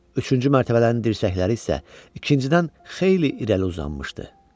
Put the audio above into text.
Üçüncü mərtəbələrin dirsəkləri isə ikincidən xeyli irəli uzanmışdı.